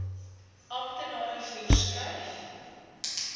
amptenare voer skryf